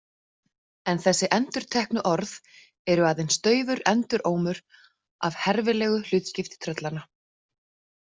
En þessi endurteknu orð eru aðeins daufur endurómur af herfilegu hlutskipti tröllanna.